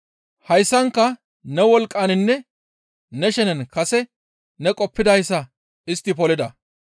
Hayssanka ne wolqqaninne ne shenen kase ne qoppidayssa istti polida.